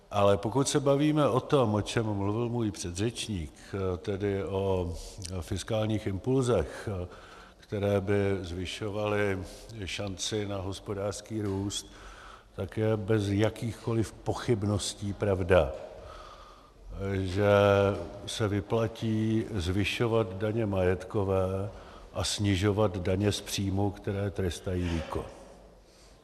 Ale pokud se bavíme o tom, o čem mluvil můj předřečník, tedy o fiskálních impulsech, které by zvyšovaly šanci na hospodářský růst, tak je bez jakýchkoliv pochybností pravda, že se vyplatí zvyšovat daně majetkové a snižovat daně z příjmu, které trestají výkon.